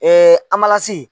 Ee anmalasi